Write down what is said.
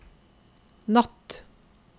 natt